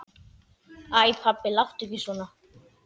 Æ pabbi, láttu ekki svona.